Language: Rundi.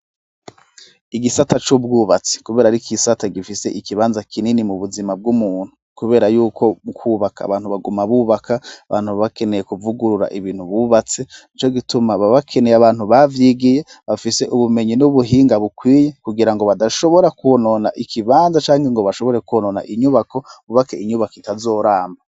Igisata c'ubwubatsi, kubera ari k'isata gifise ikibanza kinini mu buzima bw'umuntu, kubera yuko mukwubaka abantu baguma bubaka abantu babakeneye kuvugurura ibintu bubatse ni co gituma babakeneye abantu bavyigiye bafise ubumenyi n'ubuhinga bukwiye kugira ngo badashobora kubonona ikibanza canke ngo bashobore kuwonona iie inyubako bubake inyubako itazoramba.